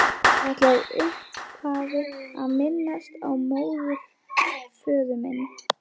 Ég ætla í upphafi að minnast á móðurföður minn